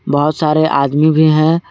बहुत सारे आदमी भी हैं।